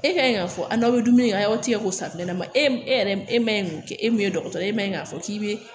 E ka ɲi k'a fɔ a n'aw bɛ dumuni kɛ a y'aw tigɛ k'o safinɛ mun e yɛrɛ e man ɲi k'o kɛ e min ye dɔgɔtɔrɔ ye e man ɲi k'a fɔ k'i bɛ